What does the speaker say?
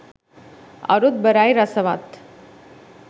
අරුත්බරයි රසවත්